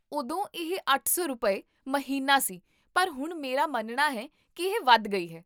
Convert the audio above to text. ਉਦੋਂ ਇਹ ਅੱਠ ਸੌ ਰੁਪਏ, ਮਹੀਨਾ ਸੀ ਪਰ ਹੁਣ ਮੇਰਾ ਮੰਨਣਾ ਹੈ ਕੀ ਇਹ ਵਧ ਗਈ ਹੈ